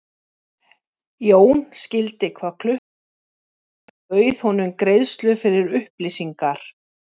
Jón skildi hvað klukkan sló og bauð honum greiðslu fyrir upplýsingar.